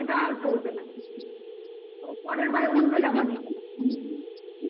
সেটা আর পড়বে না. ও পরের বারে অন্য জমা দিতে না. কি